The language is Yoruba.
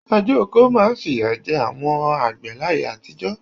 Àjẹ́oko máa ń fìyà jẹ àwọn àgbẹ̀ láyé àtijọ́.